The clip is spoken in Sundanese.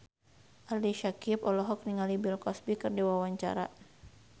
Ali Syakieb olohok ningali Bill Cosby keur diwawancara